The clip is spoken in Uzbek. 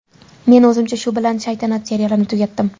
Men o‘zimcha shu bilan ‘Shaytanat’ serialini tugatdim.